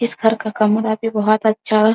इस घर का कमरा भी बहोत अच्छा --